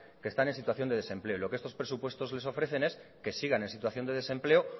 que están en situación de desempleo y lo que estos presupuestos les ofrecen es que sigan en situación de desempleo